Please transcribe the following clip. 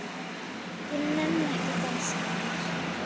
Ég nenni ekki að dansa meira.